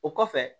O kɔfɛ